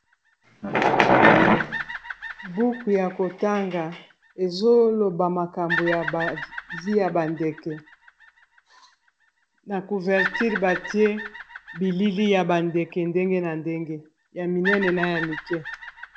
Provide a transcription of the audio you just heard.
Buku ya kotanga ezoloba makambo ya ba vie ya ba ndeke na couverture batie bilili ya ba ndeke ndenge na ndenge ya minene na ya mike.